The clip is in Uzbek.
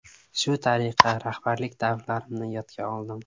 Shu tariqa rahbarlik davrlarimni yodga oldim.